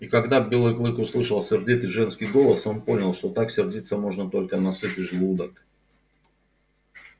и когда белый клык услышал сердитый женский голос он понял что так сердиться можно только на сытый желудок